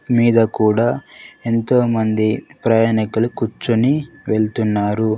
మీద కూడా ఎంతోమంది ప్రయాణకులు కూర్చొని వెళ్తున్నారు.